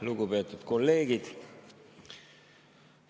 Lugupeetud kolleegid!